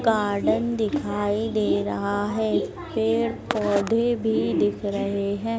Garden दिखाई दे रहा है पेड़ पौधे भी दिख रहे हैं।